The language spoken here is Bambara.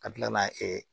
Ka kila ka na